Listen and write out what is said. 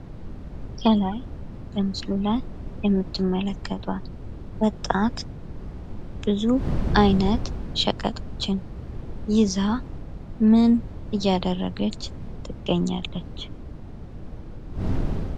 ከላይ የምትመለከቷት ወጣት ብዙ አይነት ሸቀጦችን ይዛ ምን እያደረገች ትገኛለች?